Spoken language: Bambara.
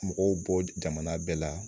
Mɔgɔw bɔ jamana bɛɛ la